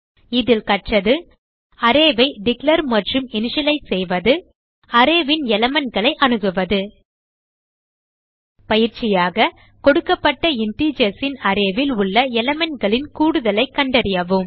இதில் அரே ஐ டிக்ளேர் மற்றும் இனிஷியலைஸ் செய்வது மற்றும் அரே ன் elementகளை அணுகுவதைக் கற்றோம் பயிற்சியாக கொடுக்கப்பட்ட integersன் அரே ல் உள்ள elementகளின் கூடுதலைக் கண்டறியவும்